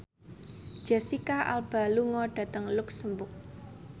Jesicca Alba lunga dhateng luxemburg